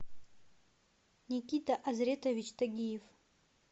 никита азретович тагиев